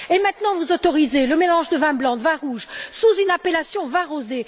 Et maintenant, vous autorisez le mélange de vin blanc, de vin rouge, sous une appellation de vin rosé.